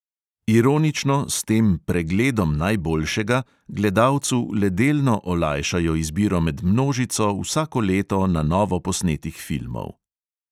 Ironično s tem "pregledom najboljšega" gledalcu le delno olajšajo izbiro med množico vsako leto na novo posnetih filmov.